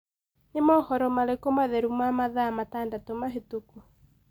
ni mohoro marĩkũ matheru ma mathaa matandatu mahituku